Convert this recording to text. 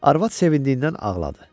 Arvad sevincindən ağladı.